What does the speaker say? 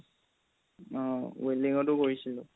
অ welding তও কৰিছিলো